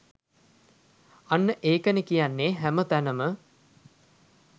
අන්න ඒකනෙ කියන්නෙ හැම තැනම